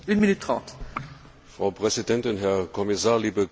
Frau Präsidentin, Herr Kommissar, liebe Kolleginnen und Kollegen!